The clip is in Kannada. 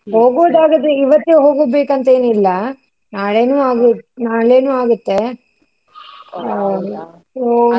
ಇವತ್ತೆ ಹೋಗ್ಬೇಕ್ ಅಂತ ಇಲ್ಲಾ, ನಾಳೇನು ಆಗು ನಾಳೇನು ಆಗುತ್ತೆ bgSpeach .